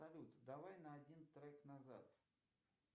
салют давай на один трек назад